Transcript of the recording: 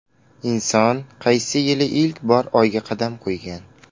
Inson qaysi yili ilk bor Oyga qadam qo‘ygan?